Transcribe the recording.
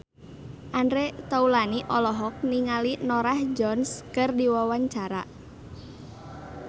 Andre Taulany olohok ningali Norah Jones keur diwawancara